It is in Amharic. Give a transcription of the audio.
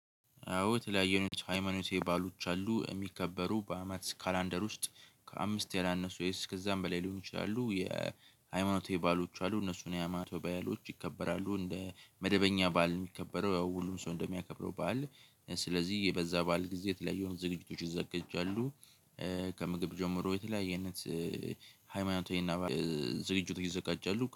አዎ የተለያዩ አይነት ሃይማኖታዊ በዓሎች አሉ የሚከበሩ በአመት ካላንደር ውስጥ ከአምስት የላነሱ ወይም ከዛም በላይ ሊሆን ይችላሉ የሃይማኖታዊ በዓሎች አሉ እነሱን የሃይማኖታዊ በዓሎች ይከበራሉ እንደ መደበኛ በዓል ነው የሚከበረው ያው ሁሉም ሰው እንደሚያከብረው በዓል ስለዚህ በዛ በዓል ጊዜ የተለያየውን ዝግጅቶች ይዘጃጃሉ ከምግብ ጀምሮ የተለያየ አይነት ሃይማኖት ዝግጅት ይዘጋጃሉ።